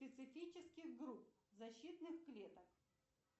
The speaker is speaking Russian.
специфических групп защитных клеток